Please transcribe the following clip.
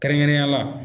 Kɛrɛnkɛrɛnnenya la